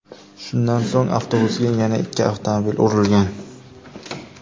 Shundan so‘ng avtobusga yana ikki avtomobil urilgan.